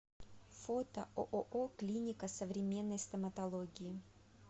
фото ооо клиника современной стоматологии